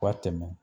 Ka tɛmɛ